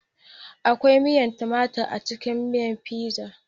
Akwai miyar tumatur a cikin miyar Fizan